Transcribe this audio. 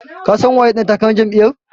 Ka san waye ɗan takarar Jam'iyar?